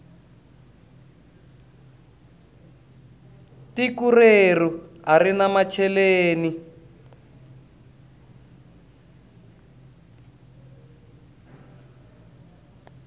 tiko reru arina macheleni